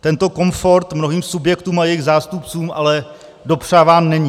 Tento komfort mnohým subjektům a jejich zástupcům ale dopřáván není.